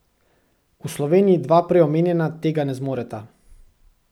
V Sloveniji dva prej omenjena tega ne zmoreta.